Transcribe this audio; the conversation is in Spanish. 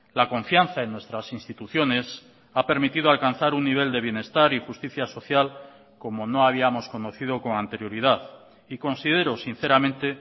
la confianza en nuestras instituciones ha permitido alcanzar un nivel de bienestar y justicia social como no habíamos conocido con anterioridad y considero sinceramente